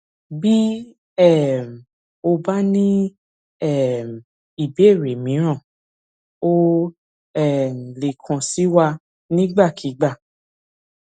bí um o bá ní um ìbéèrè míràn o o um lè kàn sí wa nígbàkigbà